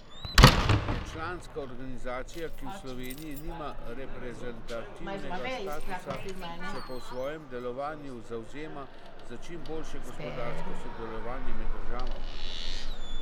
Je članska organizacija, ki v Sloveniji nima reprezentativnega statusa, se pa v svojem delovanju zavzema za čim boljše gospodarsko sodelovanje med državama.